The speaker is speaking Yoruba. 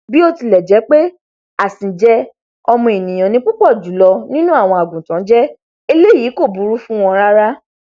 bí ó tilẹ jẹ pé àsìnjẹ ọmọ ènìyàn ni púpọ jùlọ nínú àwọn àgùntàn jẹ eléyìí kò búrú fún wọn rárá